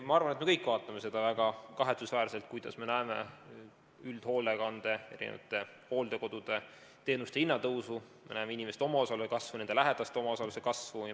Ma arvan, et me kõik peame seda väga kahetsusväärseks, et me näeme üldhoolekandeteenuste ja hooldekodude teenuste hinna tõusu, me näeme inimeste omaosaluse kasvu, nende lähedaste omaosaluse kasvu.